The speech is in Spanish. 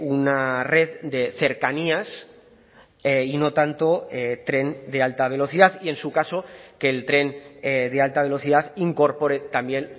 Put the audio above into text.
una red de cercanías y no tanto tren de alta velocidad y en su caso que el tren de alta velocidad incorpore también